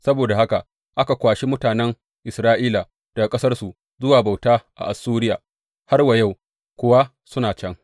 Saboda haka aka kwashi mutanen Isra’ila daga ƙasarsu zuwa bauta a Assuriya, har wa yau kuwa suna can.